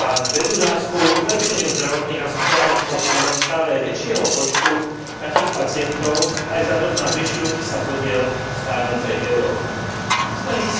a vedie nás k zlepšeniu zdravotných a sociálnych podmienok stále väčšieho počtu takých pacientov aj vzhľadom na ich zvyšujúci sa podiel v starnúcej Európe. Smernica